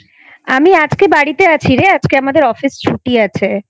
আমি আজকে বাড়িতে আছি রে আজকে আমাদের Office ছুটি আছে